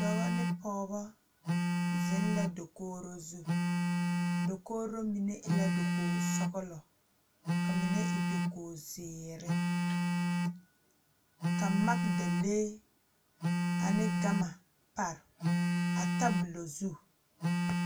Dɔbɔ ne pɔɔbɔ zeŋ la dokogro zu dokogro mine e la dokog sɔglɔ ka mine e dokog zeere ka magdalee ane gama pare a tabolɔ zu.